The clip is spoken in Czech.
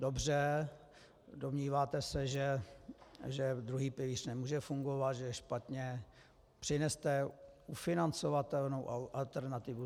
Dobře, domníváte se, že druhý pilíř nemůže fungovat, že je špatně, přineste ufinancovatelnou alternativu.